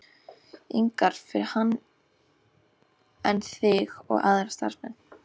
ingar fyrir hann en þig og aðra starfsmenn.